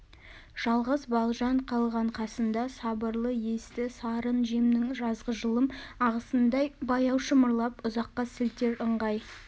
жалғыз балжан қалған қасында сабырлы есті сарын жемнің жазғы жылым ағысындай баяу шымырлап ұзаққа сілтер ыңғай